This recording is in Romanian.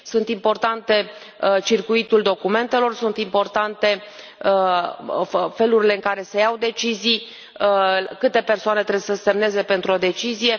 Este important circuitul documentelor, sunt importante felurile în care se iau decizii, câte persoane trebuie să semneze pentru o decizie.